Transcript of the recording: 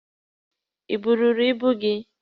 Ị buuru ibu gị?